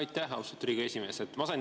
Aitäh, austatud Riigikogu esimees!